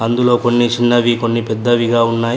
అందులో కొన్ని చిన్నవి కొన్ని పెద్దవిగా ఉన్నాయ్.